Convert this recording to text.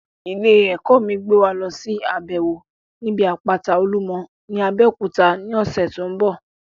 Ilé ẹ̀kọ́ mi ń gbé wa lọsí àbẹ̀wò níbi àpáta olúmọ ní Abeokuta ní ọ̀sẹ̀ tó ń bọ̀